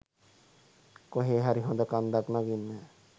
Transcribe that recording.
කොහේ හරි හොද කන්දක් නගින්න.